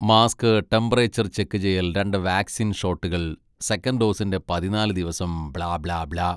Mask, temperature check ചെയ്യൽ, രണ്ട് vaccine ഷോട്ടുകൾ, സെക്കൻഡ് ഡോസിൻ്റെ പതിന്നാല് ദിവസം, ബ്ലാ, ബ്ലാ, ബ്ലാ.